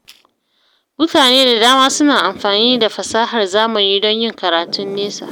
Mutane da dama suna amfani da fasahar zamani don yin karatun nesa.